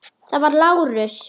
Það var Lárus.